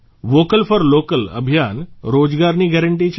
vocal for local અભિયાન રોજગારની guarantee છે